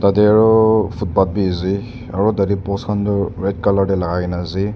yati aro footpath beh ase aro tati post kantoh red colour teh lagaina ase.